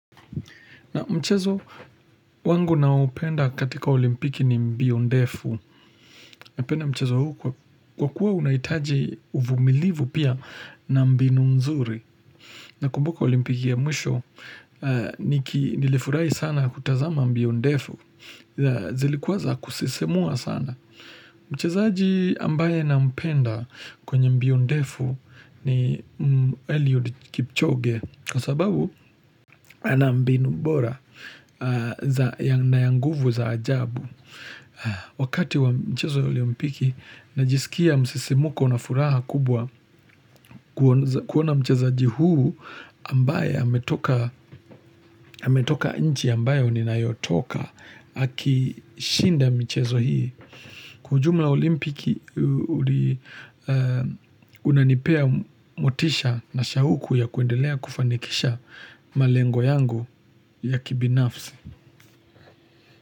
Na mchezo, wangu naoupenda katika olimpiki ni mbio ndefu, napenda mchezo huu kwa kuwa unahitaji uvumilivu pia na mbinu mzuri. Na kumbuka olimpiki ya mwisho, nilifurahi sana kutazama mbio ndefu, zilikuwa za kusisimua sana. Mchezaji ambaye na mpenda kwenye mbion defu ni Eliod Kipchoge Kwa sababu, ana mbinu bora na ya nguvu za ajabu Wakati wa mchezo olimpiki, najisikia msisimuko na furaha kubwa kuona mchezaji huyu ambaye ametoka nchi ambayo ni nayotoka haki shinda mchezo hii Kwa ujumla olimpiki unanipea motisha na shauku ya kuendelea kufanikisha malengo yangu ya kibinafsi.